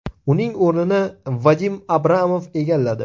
Uning o‘rnini Vadim Abramov egalladi .